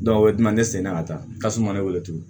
o ye duguman ne seginna ka taa tasuma ne wele tugun